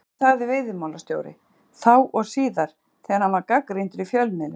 Af hverju þagði veiðimálastjóri, þá og síðar, þegar hann var gagnrýndur í fjölmiðlum?